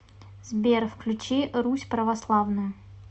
сбер включи русь православную